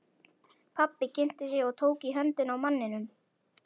Pabbi kynnti sig og tók í höndina á manninum.